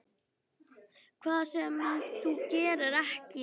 Hvað sem þú gerir, ekki.